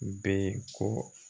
Bɛ ye ko